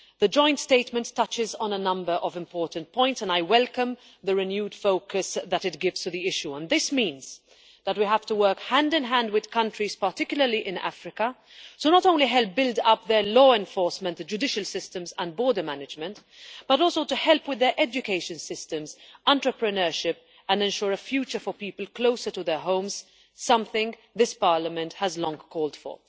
The joint statement touches on a number of important points, and I welcome the renewed focus that it gives to the issue. This means that we have to work hand in hand with countries, particularly in Africa, not only to help build up their law enforcement, the judicial systems and border management, but also to help with their education systems and entrepreneurship and ensure a future for people closer to their homes something this Parliament has long called for.